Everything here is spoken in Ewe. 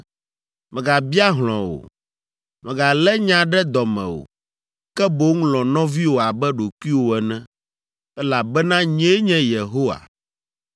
“ ‘Mègabia hlɔ̃ o. Mègalé nya ɖe dɔ me o, ke boŋ lɔ̃ nɔviwò abe ɖokuiwò ene, elabena nyee nye Yehowa.